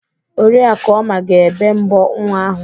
Oriakụ Oma ga-ébé mbọ nwa ahụ.